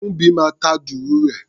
Kúḿbi máa ta dùrù rẹ̀.